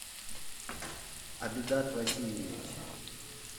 абидат васильевич